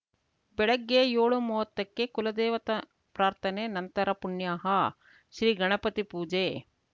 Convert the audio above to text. ಬೆಳಗ್ಗೆ ಏಳುಮೂವತ್ತಕ್ಕೆ ಕುಲದೇವತಾ ಪ್ರಾರ್ಥನೆ ನಂತರ ಪುಣ್ಯಾಹ ಶ್ರೀ ಗಣಪತಿ ಪೂಜೆ